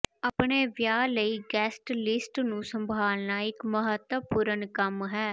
ਆਪਣੇ ਵਿਆਹ ਲਈ ਗੈਸਟ ਲਿਸਟ ਨੂੰ ਸੰਭਾਲਣਾ ਇੱਕ ਮਹੱਤਵਪੂਰਣ ਕੰਮ ਹੈ